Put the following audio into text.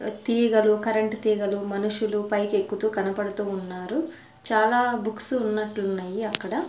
తీగలు కరెంట్ తీగలు మనుషులు పైకి ఎక్కుతూ కనపడుతూ ఉన్నారు చాలా బుక్స్ ఉన్నట్లున్నాయి అక్కడ.